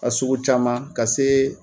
A sugu caman ka se